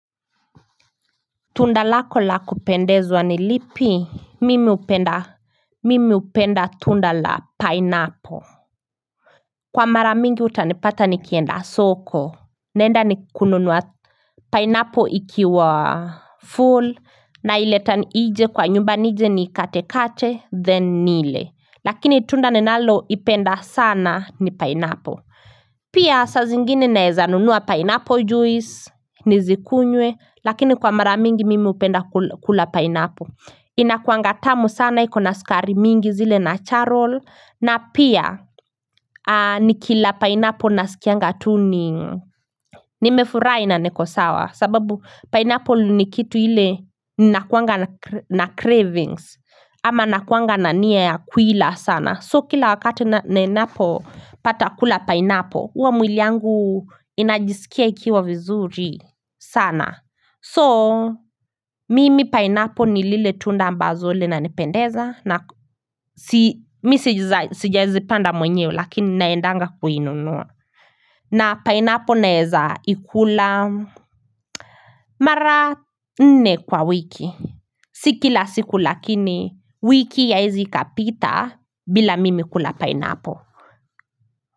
Tunda lako la kupendezwa ni lipi? Mimi hupenda mimi hupenda tunda la pineapple. Kwa mara mingi utanipata nikienda soko naenda ni kununua Pineapple ikiwa full naileta nje kwa nyumba nije niikatekate, then nile. Lakini tunda ninaloipenda sana ni pineapple. Pia saa zingine naeza nunua pineapple juice Nizikunywe Lakini kwa mara mingi mimi hupenda kula pineapple. Inakuanga tamu sana iko na sukari mingi zile natural na pia nikila pineapple nasikianga tu ni Nimefurahi na niko sawa sababu pineapple ni kitu ile nakuanga na cravings ama nakuanga na nia ya kuila sana. So kila wakati ninapopata kula pineapple huwa mwili yangu inajisikia ikiwa vizuri sana. So, mimi pineapple ni lile tunda ambazo linanipendeza. Mi sijazipanda mwenyewe lakini naendanga kuinunua. Na pineapple naeza ikula mara nne kwa wiki. Si kila siku lakini wiki haiezi ikapita bila mimi kula pineapple.